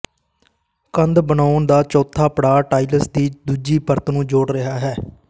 ਕੰਧ ਬਣਾਉਣ ਦਾ ਚੌਥਾ ਪੜਾਅ ਟਾਇਲਸ ਦੀ ਦੂਜੀ ਪਰਤ ਨੂੰ ਜੋੜ ਰਿਹਾ ਹੈ